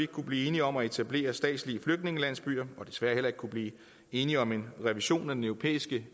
kunne blive enige om at etablere statslige flygtningelandsbyer og desværre heller ikke kunne blive enige om en revision af den europæiske